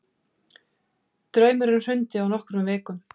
Draumurinn hrundi á nokkrum vikum.